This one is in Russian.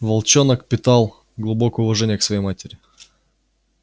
волчонок питал глубокое уважение к своей матери